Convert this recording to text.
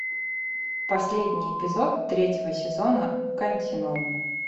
последний эпизод третьего сезона континуум